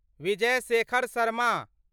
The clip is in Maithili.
विजय शेखर शर्मा